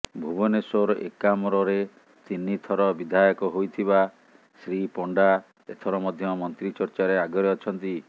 ଭୁବନେଶ୍ବର ଏକାମ୍ରରେ ତିନି ଥର ବିଧାୟକ ହୋଇଥିବା ଶ୍ରୀ ପଣ୍ଡା ଏଥର ମଧ୍ୟ ମନ୍ତ୍ରୀ ଚର୍ଚ୍ଚାରେ ଆଗରେ ଅଛନ୍ତି